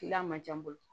Kilan man jan bolo